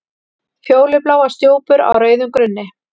Fjólubláar stjúpur á rauðum grunni.